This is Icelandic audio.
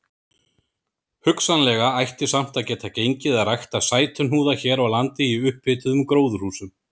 Hugsanlega ætti samt að geta gengið að rækta sætuhnúða hér á landi í upphituðum gróðurhúsum.